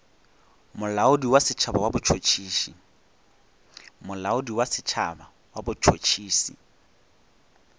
molaodi wa setšhaba wa botšhotšhisi